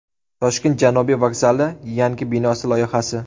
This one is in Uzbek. Toshkent Janubiy vokzali yangi binosi loyihasi.